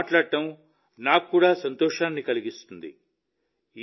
మీతో మాట్లాడడం నాకు కూడా సంతోషాన్ని కలిగిస్తుంది